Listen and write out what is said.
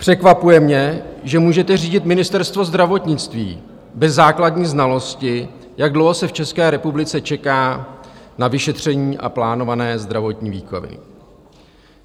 Překvapuje mě, že můžete řídit Ministerstvo zdravotnictví bez základní znalosti, jak dlouho se v České republice čeká na vyšetření a plánované zdravotní výkony.